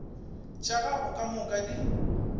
tša gago ka moka di